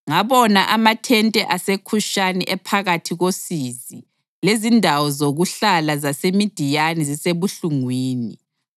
Ngabona amathente aseKhushani ephakathi kosizi, lezindawo zokuhlala zaseMidiyani zisebuhlungwini.